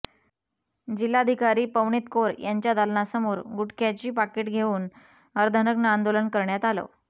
जिल्हाधिकारी पवनीत कौर यांच्या दालनासमोर गुटख्याची पाकिट घेऊन अर्धनग्न आंदोलन करण्यात आलं